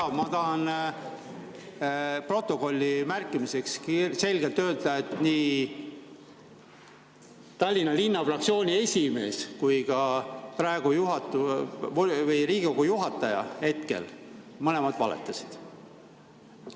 Jaa, ma tahan protokolli märkimiseks selgelt öelda, et nii Tallinna Linnavolikogu fraktsiooni esimees kui ka Riigikogu juhataja mõlemad valetasid.